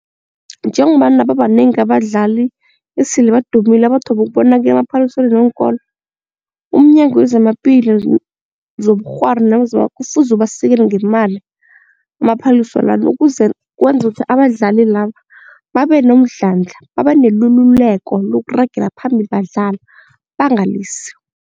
Njengombana babanengi abadlali esele badumile abathome ukubonakala emaphaliswaneni weenkolo umNyango wezamaPilo zobuRhwari kufuze ubasekele ngemali amaphaliswa la ukuze kwenze ukuthi abadlali laba babe nomdlandla babe nelululeko lokuragela phambili badlala bangalisi.